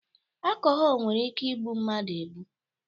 Akọhọl nwere ike ịbụ mmadụ ebu.